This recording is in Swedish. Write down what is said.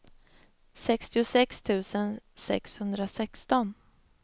sextiosex tusen sexhundrasexton